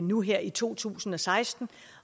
nu her i to tusind og seksten